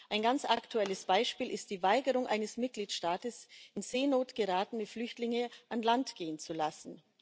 Ein ganz aktuelles Beispiel ist die Weigerung eines Mitgliedstaats, in Seenot geratene Flüchtlinge an Land gehen zu lassen.